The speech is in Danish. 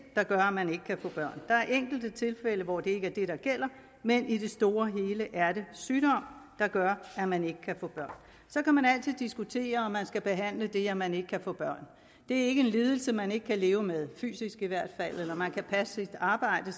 der gør at man ikke kan få børn der er enkelte tilfælde hvor det ikke er det der gælder men i det store og hele er det sygdom der gør at man ikke kan få børn så kan man altid diskutere om man skal behandle det at man ikke kan få børn det er ikke en lidelse man ikke kan leve med fysisk i hvert fald og man kan passe sit arbejde